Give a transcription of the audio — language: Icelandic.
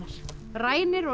rænir og